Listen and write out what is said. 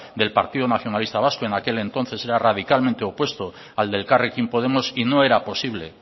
del partido nacionalista vasco en aquel entonces era radicalmente opuesto al de elkarrekin podemos y no era posible